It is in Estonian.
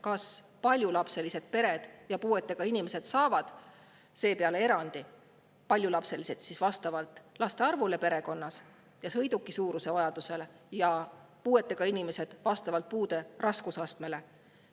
Kas paljulapselised pered ja puuetega inimesed saavad seepeale erandi, paljulapselised siis vastavalt laste arvule perekonnas ja sõiduki suurusele ning puuetega inimesed vastavalt puude raskusastmele?